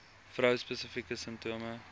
vrou spesifieke simptome